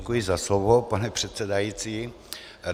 Děkuji za slovo, pane předsedající.